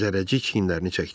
Zərrəcik çiyinlərini çəkdi.